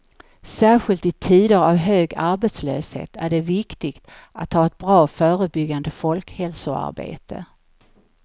Särskilt i tider av hög arbetslöshet är det viktigt att ha ett bra förebyggande folkhälsoarbete.